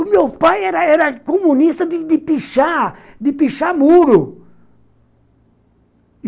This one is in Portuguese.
O meu pai era era comunista de pichar, de pichar muro.